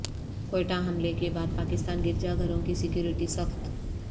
کوئٹہ حملے کے بعد پاکستان گرجا گھروں کی سکیورٹی سخت